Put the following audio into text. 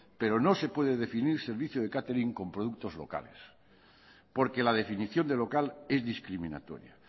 pero no se puede definir servicio de catering con productos locales porque la definición de local es discriminatoria